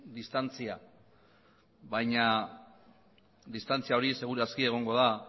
distantzia baina distantzia hori segur aski egongo da